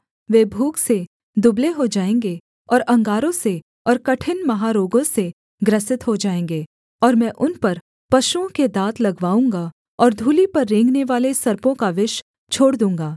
वे भूख से दुबले हो जाएँगे और अंगारों से और कठिन महारोगों से ग्रसित हो जाएँगे और मैं उन पर पशुओं के दाँत लगवाऊँगा और धूलि पर रेंगनेवाले सर्पों का विष छोड़ दूँगा